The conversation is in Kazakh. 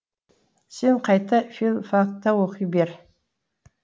сен қайта филфакта оқи бер